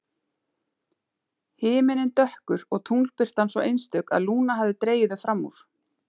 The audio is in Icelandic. Himinninn dökkur og tunglbirtan svo einstök að Lúna hafði dregið þau fram úr.